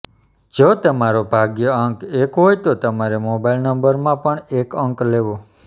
જો તમારો ભાગ્યાંક એક હોય તો તમારે મોબાઇલ નંબરમાં પણ એક અંક લેવો